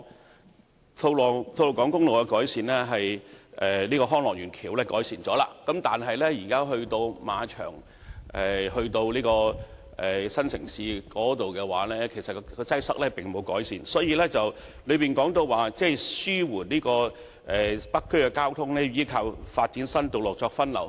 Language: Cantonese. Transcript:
雖然吐露港公路和康樂園橋面的交通情況已經得到改善，但由馬場至新城市廣場一帶的交通擠塞情況，並未得到改善，因此局長在主體答覆表示紓緩北區交通需倚靠發展新道路發揮分流作用。